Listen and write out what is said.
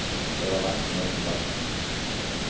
Det var langt ned til bakken.